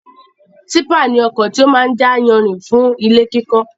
Típà ni ọkọ̀ tí ó máa ń jà yanrìn fún ilé kíkọ́